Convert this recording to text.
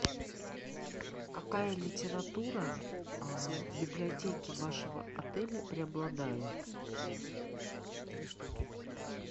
какая литература в библиотеке вашего отеля преобладает